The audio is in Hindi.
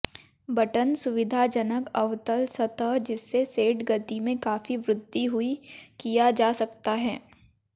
बटन सुविधाजनक अवतल सतह जिससे सेट गति में काफी वृद्धि हुई किया जा सकता है